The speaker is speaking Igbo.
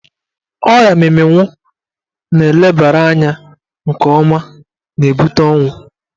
Ọrịa mminwu na elebara anya nke ọma na-ebute ọnwụ.